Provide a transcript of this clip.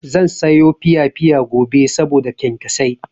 Zan sayo piyapiya gobe saboda kyankyasai.